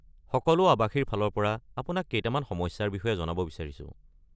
সকলো আৱাসীৰ ফালৰ পৰা আপোনাক কেইটামান সমস্যাৰ বিষয়ে জনাব বিচাৰিছোঁ।